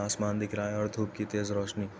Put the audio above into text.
आसमान दिख रहा है और धूप की तेज रोशनी --